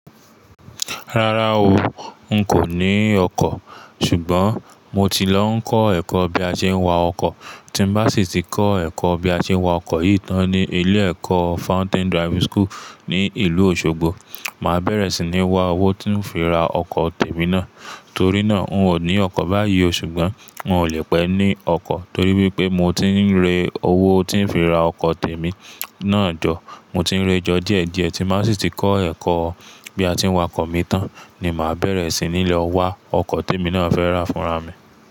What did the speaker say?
Rárá o, n kò ní ọkọ̀. Ṣùgbọ́n mo ti lọ ń kọ́ ẹ̀kọ́ bí a ṣe ń wa ọkọ̀. Tí n bá sì ti kọ́ ẹ̀kọ́ bí a ṣe ń wa ọkọ̀ yìí tán ní ilé ẹ̀kọ́ Fountain Driving School ní ìlú Òṣogbo, màá bẹ̀rẹ̀ sí ní wa owó tí ń fi ra ọkọ̀ tèmi náà. Torí náà, n kò ní ọkọ̀ báyìí o. Ṣùgbọ́n n ò lè pẹ́ ní ọkọ̀ torí wípé mo ti ń re owó tí ń fi ra ọkọ̀ tèmi náà jọ. Mo ti ń re ẹ jọ díẹ̀ díẹ̀ tí mo bá sì ti kọ́ ẹ̀kọ́ bí a ti ń wa ọkọ̀ mi tán ni màá bẹ̀rẹ̀ sí ní lọ wa ọkọ̀ tèmi náà fẹ́ rà fúnra mi.